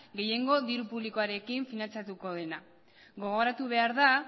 gehiengo diru publikoarekin finantzatuko dena gogoratu behar da